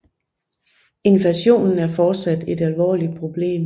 Inflationen er fortsat et alvorligt problem